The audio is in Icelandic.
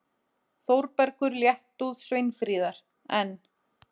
Þórbergur léttúð Sveinfríðar, en